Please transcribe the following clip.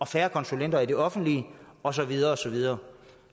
færre konsulenter i det offentlige og så videre og så videre